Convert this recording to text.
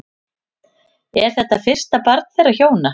Er þetta fyrsta barn þeirra hjóna